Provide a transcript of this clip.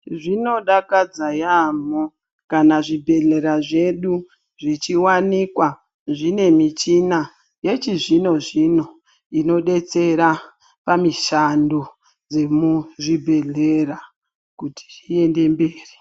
Zvinodakadza yambo kana zvibhedhlera zvedu zvichiwanikwa zvine michina yechizvino zvino inodetsera pamishando dzemuzvibhedhlera kuti zviende mberi.